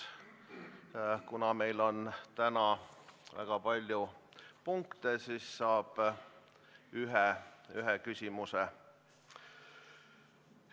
Kuna meil on täna väga palju registreeritud küsimusi, siis saab saalist esitada ühe lisaküsimuse.